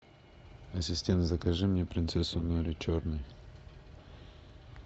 ассистент закажи мне принцессу нури черный